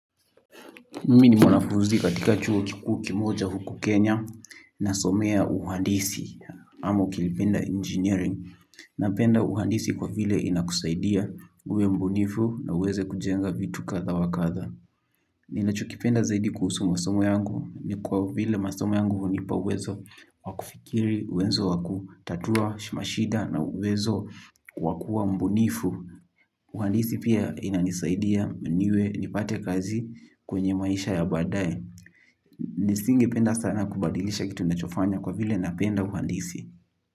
Mimi ni mwanafunzi katika chuo kikuu kimoja huku Kenya nasomea uhandisi ama ukipenda engineering napenda uhandisi kwa vile inakusaidia uwe mbunifu na uweze kujenga vitu kadha wa kadha ninachokipenda zaidi kuhusu masomo yangu ni kwa vile masomo yangu hunipa uwezo wa kufikiri uwezo wa kutatua, mashida na uwezo wa kuwa mbunifu. Uhandisi pia inanisaidia nipate kazi kwenye maisha ya baadaye. Nisingependa sana kubadilisha kitu ninachofanya kwa vile napenda uhandisi.